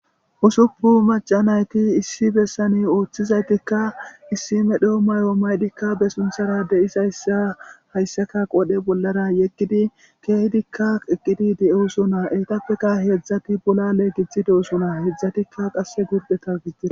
Usuppu macanayti issi bessane ooththizaytikka issime doo mayo maydikka besunthara de'is ayssa hayssaka qodhe bollara yekkidi keehidikka eqqidi de'eosona eytappeka heedzdzati bola leegithi deosona heedzdzatikka qasse gurdeta gigia.